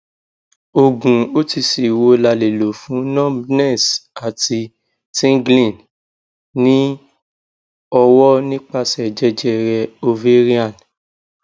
oogun otc wo la le lo fun numbness ati tingling ni owo nipase jejere ovarian